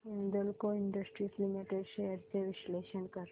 Hindalco industries limited shares चे विश्लेषण कर